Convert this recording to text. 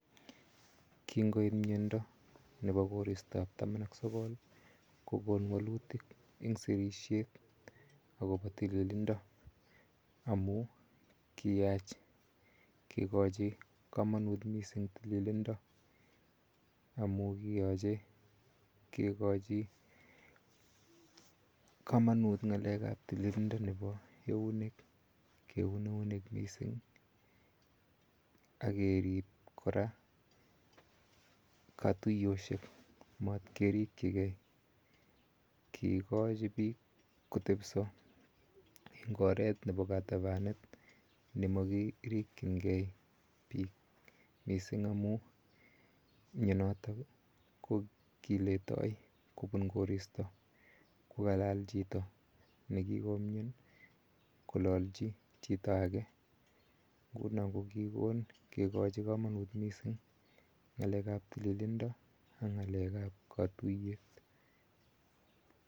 Kingoiit mianda nepo koristoap taman ak sokol , ko kon walutik en sirishet akopa tililindo amu kiyaach kikachi kamanit missing' tililindo amu kiyache kekochi kamanut ng'alek ap tililindo nepo eunek missing' ak kerip kora katuyoshek, matkerikchigei. Kiikochi piik kotepisa eng' oret nepo katapanet ne ma kirikchingei piik missing' amu mionotok ko kiletai kopun koristo, ko kalal chito ne kikomiani kolalchi chito age. Nguno ko kikon kikachi kamanut missing' ng'alek ap tililindo ak ng'alek ap katuyet.